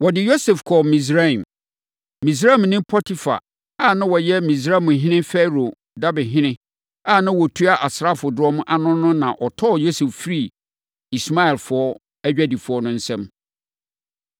Wɔde Yosef kɔɔ Misraim. Misraimni Potifar a na ɔyɛ Misraimhene Farao dabehene a na ɔtua asraafodɔm ano no na ɔtɔɔ Yosef firii Ismaelfoɔ adwadifoɔ no nsam.